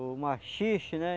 O maxixe, né?